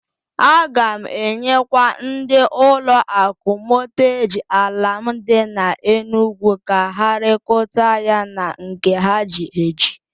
A ga m enyekwa ndị ụlọ akụ Mọtgeji ala m dị n'Enugu ka ha rekota ya na nke ha ji eji.